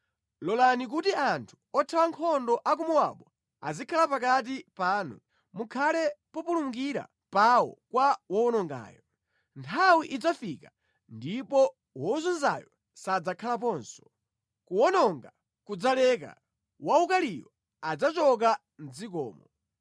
Lolani kuti anthu othawa nkhondo a ku Mowabu azikhala pakati panu; mukhale populumukira pawo kwa wowonongayo.” Nthawi idzafika ndipo wozunzayo sadzakhalaponso, kuwononga kudzaleka; waukaliyo adzachoka mʼdzikomo.